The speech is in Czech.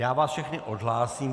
Já vás všechny odhlásím.